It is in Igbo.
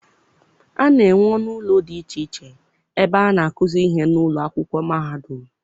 A na-enwe ọnụ ụlọ dị iche iche ebe a na-akuzi ihe n'ụlọ akwụkwọ mahadum.